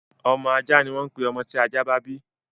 Ọmọ ajá ni wọ́n ń pè àwọn ọmọ tí ajá bá bí.